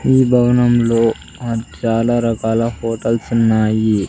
ఈ భవనంలో ఆ చాలా రకాల హోటల్స్ ఉన్నాయి.